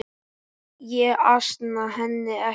Ég ansa henni ekki.